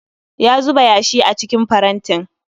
Ya zuba yashi a cikin farantin